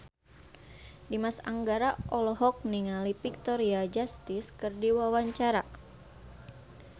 Dimas Anggara olohok ningali Victoria Justice keur diwawancara